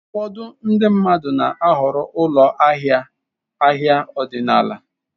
Ụfọdụ ndị mmadụ na-ahọrọ ụlọ ahịa ahịa ọdịnala.